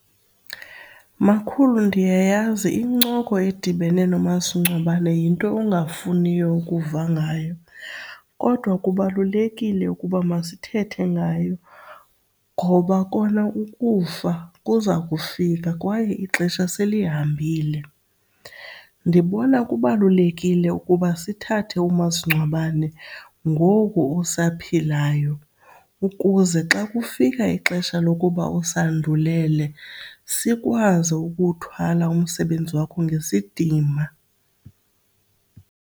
Makhulu, ndiyayazi incoko edibene nomasingcwabane yinto ongafuniyo ukuva ngayo kodwa kubalulekile ukuba masithethe ngayo ngoba kona ukufa kuza kufika kwaye ixesha selihambile. Ndibona kubalulekile ukuba sithathe umasingcwabane ngoku usaphilayo ukuze xa kufika ixesha lokuba usandulele, sikwazi ukuthwala umsebenzi wakho ngesidima.